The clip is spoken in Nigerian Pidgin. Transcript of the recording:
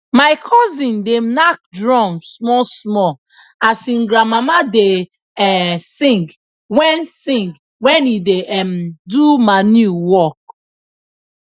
my cosin da nak drum small small as him granmama da um sing wen sing wen e da um do manure work